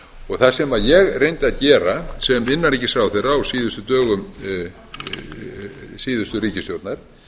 voru það sem ég reyndi að gera sem innanríkisráðherra á síðustu dögum síðustu ríkisstjórnar